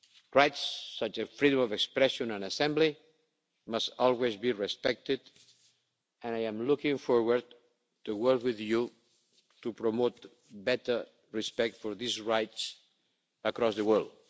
Rights such as freedom of expression and assembly must always be respected and I am looking forward to working with you to promote better respect for these rights across the world.